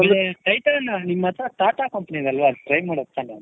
ಅಮೇಲೆ titan ನಿಮ್ಮ ಹತ್ರ TATA company ಗಲ್ವ ಅದಕ್ಕೆ try ಮಾಡೋದ್ ತಾನೇ